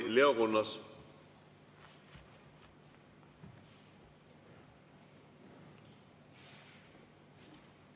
Palun Riigikogu kõnetooli Leo Kunnase!